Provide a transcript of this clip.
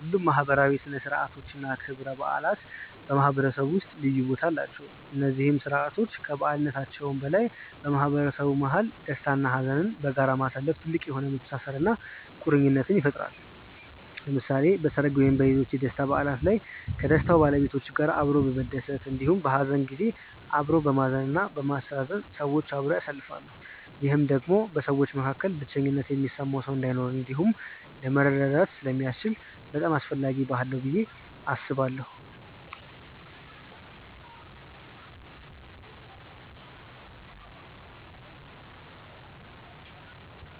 ሁሉም ማህበራዊ ሥነ ሥርዓቶች እና ክብረ በዓላት በማህበረሰቡ ውስጥ ልዩ ቦታ አላቸው። እነዚህ ስርዓቶች ከበዓልነታቸው በላይ በማህበረሰቡ መሀል ደስታ እና ሀዘንን በጋራ ማሳለፋ ጥልቅ የሆነ መተሳሰርን እና ቁርኝትን ይፈጥራል። ለምሳሌ በሰርግ ወይም ሌሎች የደስታ በዓላት ላይ ከደስታው ባለቤቶች ጋር አብሮ በመደሰት እንዲሁም በሀዘን ጊዜ አብሮ በማዘን እና በማስተዛዘን ሰዎች አብረው ያሳልፋሉ። ይህም ደግሞ በሰዎች መካከል ብቸኝነት የሚሰማው ሰው እንዳይኖር እንዲሁም ለመረዳዳት ስለሚያስችል በጣም አስፈላጊ ባህል ነው ብዬ አስባለሁ።